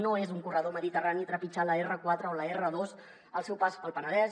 no és un corredor mediterrani trepitjar l’r4 o l’r2 al seu pas pel penedès